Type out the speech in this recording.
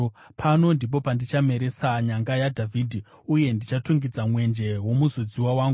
“Pano ndipo pandichameresa nyanga yaDhavhidhi, uye ndichatungidza mwenje womuzodziwa wangu.